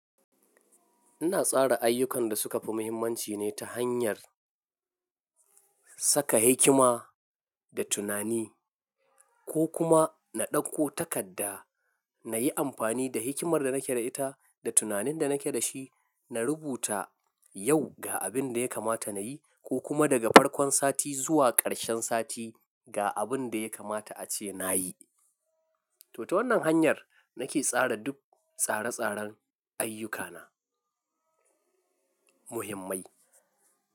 Ina tsara ayyukan da suka fi mahimmanci ne ta hanyar saka hikima da tunani ko kuma na ɗauko takarda na yi amfani da hikimar da nake da ita da tunanin da nake da shi, na rubuta yau ga abin da ya kamata na yi ko kuma daga farkon sati zuwa ƙarshen sati ga abin da ya kamata a ce na yi. To, ta wannan hanyar nake tsara duk tsare-tsaren ayyukana muhimmai.